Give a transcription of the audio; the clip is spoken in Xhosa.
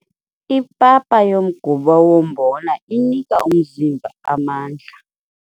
Ipapa yomgubo wombona inika umzimba amandla.